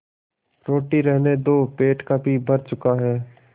रोटी रहने दो पेट काफी भर चुका है